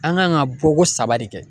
An kan ka bɔ ko saba de kɛ.